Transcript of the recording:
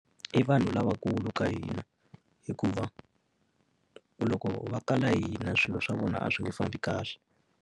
I vanhu lavakulu ka hina. Hikuva loko va kala hina swilo swa vona a swi nge fambi kahle.